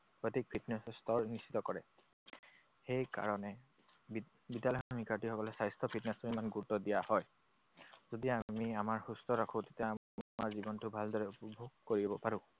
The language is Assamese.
সঠিক fitness স্তৰ নিৰ্দিষ্ট কৰে। সেই কাৰণে বিদ্যালয়ৰ শিক্ষাৰ্থীসকলে স্বাস্থ্য, fitness টোক ইমান গুৰুত্ব দিয়া হয়। যদি আমি আমাৰ সুস্থ ৰাখোঁ, তেতিয়া আমাৰ জীৱনটো ভালদৰে উপভোগ কৰিব পাৰো।